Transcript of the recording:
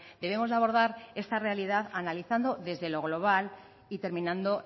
debemos de abordar esta realidad analizando desde lo global y terminando